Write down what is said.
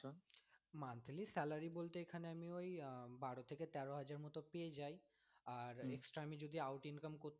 Monthly salary বলতে এখানে আমি ওই আহ বারো থেকে তেরো হাজার মত পেয়ে যায় আর extra আমি যদি out income করতে পারি।